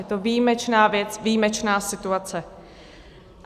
Je to výjimečná věc, výjimečná situace.